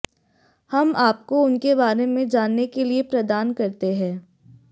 हम आपको उनके बारे में जानने के लिए प्रदान करते हैं